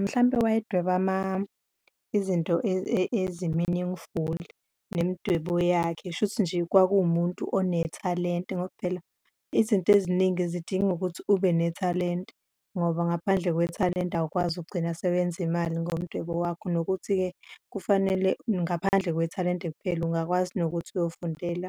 Mhlampe wayedweba izinto ezi-meaningful-i nemidwebo yakhe, kusho ukuthi nje kwakuwumuntu onethalente. Ngoba phela izinto eziningi zidinga ukuthi ubenethalente ngoba ngaphandle kwethalente awukwazi ukugcina sewenza imali ngomdwebo wakho, nokuthi-ke kufanele ngaphandle kwethalente kuphela ungakwazi nokuthi uyofundela